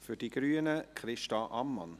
Für die Grünen spricht Christa Ammann.